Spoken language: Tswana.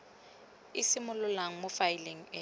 e simololang mo faeleng e